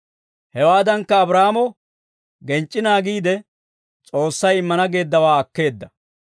Hewaadankka, Abraahaamo genc'c'i naagiide, S'oossay immana geeddawaa akkeedda.